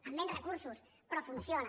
amb menys recursos però funciona